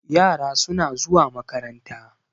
yara suna zuwa makaranta